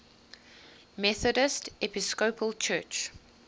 methodist episcopal church